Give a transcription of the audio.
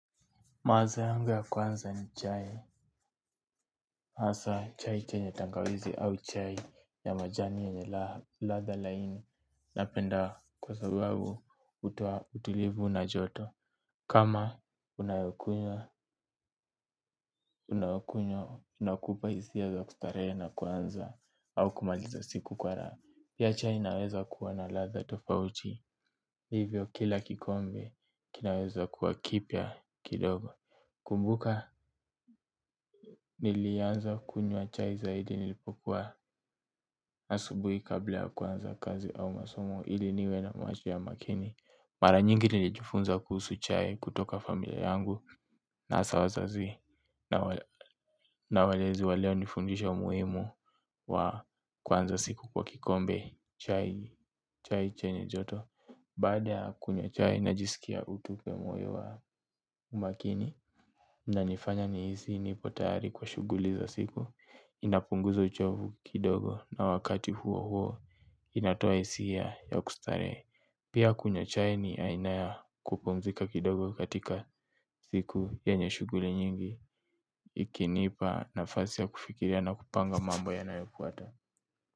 Maza yangu ya kwanza ni chai. Asa chai chenye tangawizi au chai ya majani yenye ladha laini. Napenda kwa sababu utoa utulivu na joto. Kama unayokunywa unakupa isia za kustarehe na kuanza au kumaliza siku kwa raha. Pia chai inaweza kuwa na ladha tofauti. Hivyo kila kikombe kinaweza kuwa kipya kidogo. Kumbuka nilianza kunywa chai zaidi nilipokuwa asubuhi kabla ya kuanza kazi au masomo ili niwe na macho ya makini. Mara nyingi nilijifunza kuhusu chai kutoka familia yangu na asa wazazi na walezi walionifundisha umuhimu wa kuanza siku kwa kikombe chai chenye joto. Baada ya kunywa chai najisikia utu kwa moyo wa umakini inanifanya nihisi nipo tayari kwa shuguli za siku. Inapunguza uchovu kidogo na wakati huo huo inatoa isiya ya kustarehe. Pia kunywa chai ni aina ya kupumzika kidogo katika siku yenye shuguli nyingi. Ikinipa nafasi ya kufikiria na kupanga mambo yanayofuata.